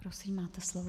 Prosím, máte slovo.